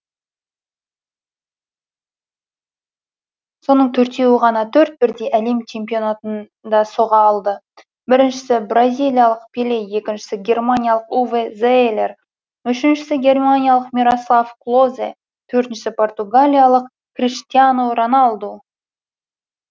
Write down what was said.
соның төртеуі ғана төрт бірдей әлем чемпионатында соға алды біріншісі бразилиялық пеле екіншісі германиялық уве зеелер үшіншісі германиялық мирослав клозе төртіншісі португалиялық криштиану роналду